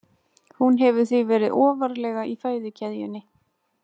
Hún hefur því verið ofarlega í fæðukeðjunni.